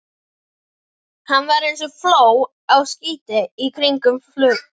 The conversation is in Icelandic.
Hann var eins og fló á skinni í kringum konuna.